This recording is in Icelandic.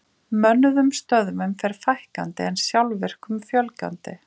Mönnuðum stöðvum fer fækkandi en sjálfvirkum fjölgandi.